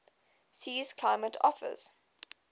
sea's climate offers